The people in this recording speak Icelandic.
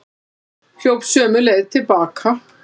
Hljóp sömu leið til baka.